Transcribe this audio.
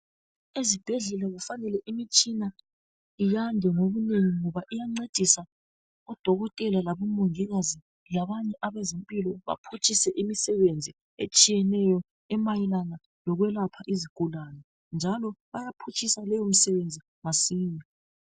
Ezibhedlela kufanele imitshina iyande ngobunengi ngoba iyancedisa odokotela labo mongikazi labanye abezempilo baphutshise imisebenzi etshiyeneyo emayelana lokwelapha izigulani njalo bayaphutshisa leyo misebenzi masinya.